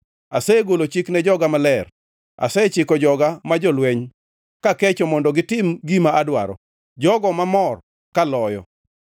Asegolo chik ne joga maler; asechiko joga ma jolweny kakecho mondo gitim gima adwaro, jogo mamor kaloyo.